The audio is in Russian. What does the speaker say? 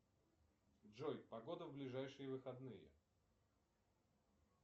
джой погода в ближайшие выходные